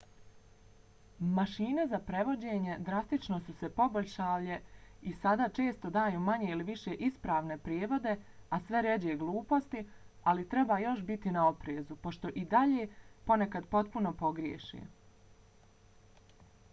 mašine za prevođenje drastično su se poboljšale i sada često daju manje ili više ispravne prijevode a sve rjeđe gluposti ali treba još biti na oprezu pošto i dalje ponekad potpuno pogriješe